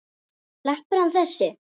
Sleppur hann þessi?